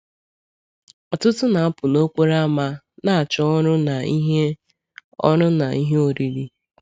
Ọtụtụ na-apụ n’okporo ámá na-achọ ọrụ na ihe ọrụ na ihe oriri.